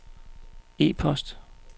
e-post